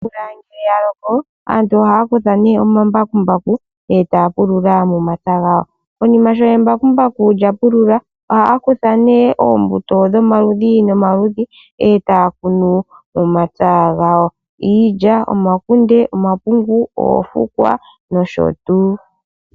Omvula ngele ya loko aantu ohaa kutha omambakumbaku etaya pulula momapya gawo konima sho embakumbaku lya pulula ohaya kutha nee ombuto dhomaludhi nomaludhi etaya kunu momapya gawo iilya ,omakunde, omapungu, oofukwa nosho tuu.